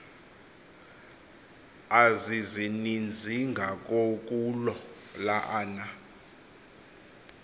azizininzingakokuloo la ana